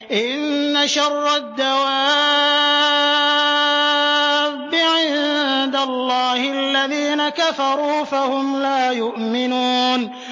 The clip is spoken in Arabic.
إِنَّ شَرَّ الدَّوَابِّ عِندَ اللَّهِ الَّذِينَ كَفَرُوا فَهُمْ لَا يُؤْمِنُونَ